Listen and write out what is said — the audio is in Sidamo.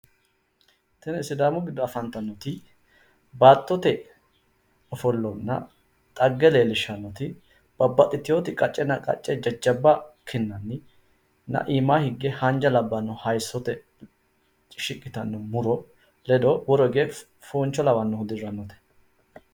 Tini sidaamu giddo afantannoti babbaxitino baattote ofollana dhegge ikkittanna waahi hunda haanja muro noottanna jawu fonchi nootta leellishano misileti